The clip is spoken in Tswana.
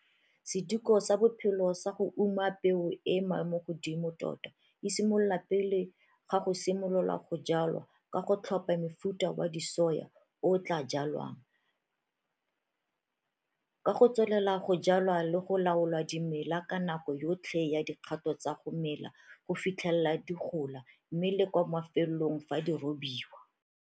Sediko sa bophelo sa go uma peo e e maemogodimo tota e simolola pele ga go simolola go jwala ka go tlhopha mofuta wa disoya o o tlaa jwalwang, ka go tswelela go jwala le go laola dimela ka nako yotlhe ya dikgato tsa go mela go fitlhelela di gola mme le kwa mafelelong fa di robiwa.